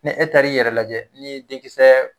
Ni e taara i yɛrɛ lajɛ ni denkisɛ